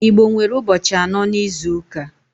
Igbo nwere ụbọchị anọ n'izuka.